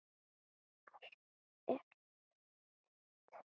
Allt annað er hjóm eitt.